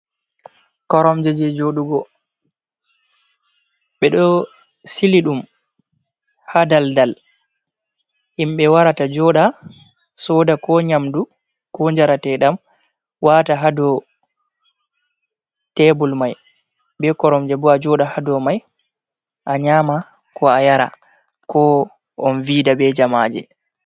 koromje je jodugo ɓe ɗo sili ɗum ha daldal himɓe warata joɗa soda ko nyamdu ko jaratedam wata hado tebul mai, be koromje bo a joɗa hado mai a nyama ko a yara ko on vida be jamaje.